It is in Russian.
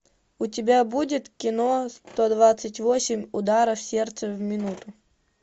у тебя будет кино сто двадцать восемь ударов сердца в минуту